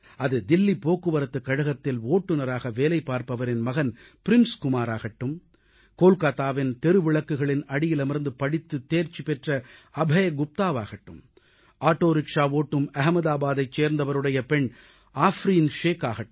அது தில்லி போக்குவரத்துக் கழகத்தில் ஓட்டுநராக வேலைபார்ப்பவரின் மகன் பிரின்ஸ் குமார் ஆகட்டும் கொல்காத்தாவின் தெருவிளக்குகளின் அடியிலமர்ந்து படித்துத் தேர்ச்சி பெற்ற அபய் குப்தாவாகட்டும் ஆட்டோ ரிக்ஷா ஓட்டும் அகமதாபாதைச் சேர்ந்தவருடைய பெண் ஆஃப்ரீன் ஷேக்காகட்டும்